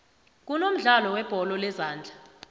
kunomdlalo webholo lezondla